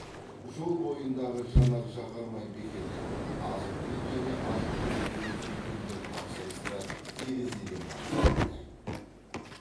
жол бойындағы жанар жағармай бекеті азық түлік және азық түлік емес дүкендер тапсырысты терезеден ғана қабылдайды